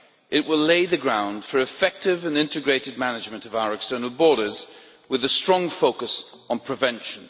It will lay the ground for effective and integrated management of our external borders, with a strong focus on prevention.